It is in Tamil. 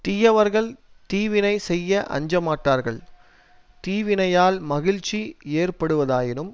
தீயவர்கள் தீவினை செய்ய அஞ்சமாட்டார்கள் தீவினையால் மகிழ்ச்சி ஏற்படுவதாயினும்